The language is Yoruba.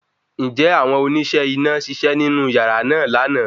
Ǹjẹ́ àwọn oníṣẹ́ iná ṣiṣẹ́ nínú yàrá náà lana